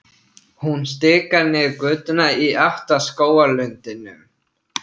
Hún stikar niður götuna í átt að skógarlundinum.